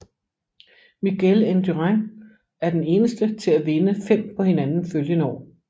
Miguel indurain er den eneste til at vinde fem på hinanden følgende år